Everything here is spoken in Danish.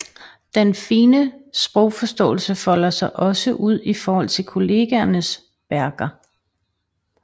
Den fine sprogforståelse folder sig også ud i forhold til kollegaers værker